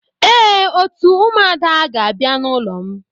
Ee, òtù ụmụada ga-abia n'ulo m.